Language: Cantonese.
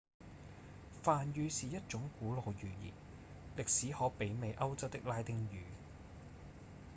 梵語是一種古老語言歷史可媲美歐洲的拉丁語